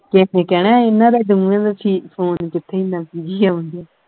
ਕਿਸ ਨੇ ਕਹਿਣਾ ਇਨ੍ਹਾਂ ਦਾ ਦੋਵਾਂ ਦਾ phone ਕਿਥੇ ਇਹਨਾਂ busy ਆਉਣ ਢਆ।